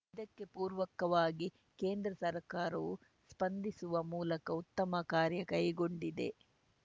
ಇದಕ್ಕೆ ಪೂರಕವಾಗಿ ಕೇಂದ್ರ ಸರ್ಕಾರವು ಸ್ಪಂದಿಸುವ ಮೂಲಕ ಉತ್ತಮ ಕಾರ್ಯ ಕೈಗೊಂಡಿದೆ